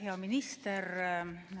Hea minister!